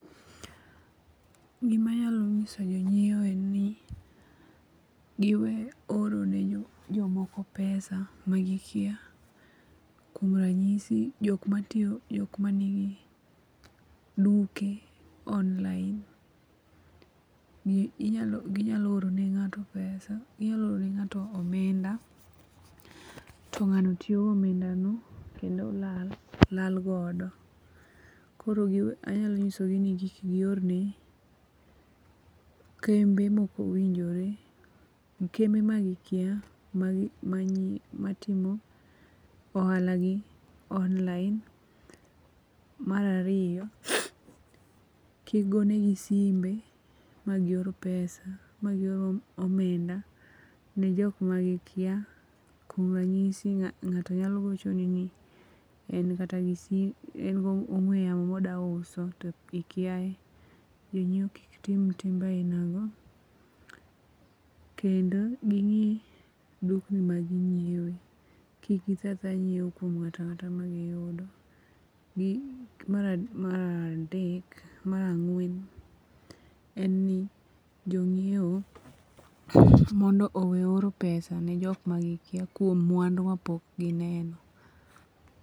Gimanyalo nyiso jo nyiewo en ni, giwe orne jokmoko pesa magikia , kuom ranyisi jok matiyo, jok manigi duke online, gi nyalo orene nga'to pesa ginyalo orone nga'to omenda, to nga'no tiyo go omendano kendo lal la godo koro anyalo nyisogi ni kik giorne kembe ma okowinjore kembe magikia matimo ohala gi online, marariyo kigonegi simbe magior pesa magior omenda ne jok magikia kuom ranyisi nga'to nyalo gochoni ni en kata en gi ong'weyamo modwauso to ikia, janyiwo kik tim timbe ainago, kendo gi ngi' dukni maginyiewo, kik itho athoya ' nyiewo kuom nga'to anga'ta magiyudo, maradek ,marang'wen en ni jonyiewo mondo owe oro pesa ne jok magikia kuom mwandu mapok gineno.